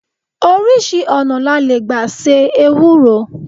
5. Oríṣi ọ̀nà la le gba se Ewúro.